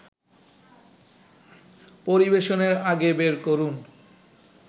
পরিবেশনের আগে বের করুন